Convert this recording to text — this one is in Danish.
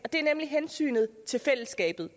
nemlig hensynet til fællesskabet